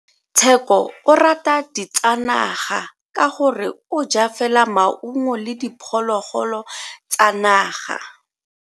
Tsheko o rata ditsanaga ka gore o ja fela maungo le diphologolo tsa naga.